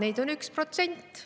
Neid on 1%.